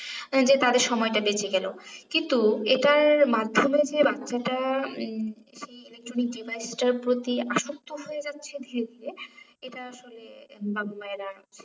যে তাদের সময়টা বেঁচে গেলো কিন্তু এটার মাধ্যমে যে বাচ্ছাটার উম electronic device টার প্রতি আসক্ত হয়ে যাচ্ছে ধীরে ধীরে এটা আসলে বাবা মায়েরা